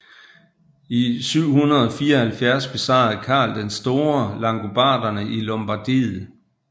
I 774 besejrede Karl den Store langobarderne i Lombardiet